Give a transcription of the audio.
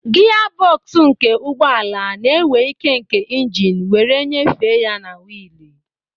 Gia bọksụ nke ụgbọ ala na-ewe ike nke engine wee nyefee ya na wiili.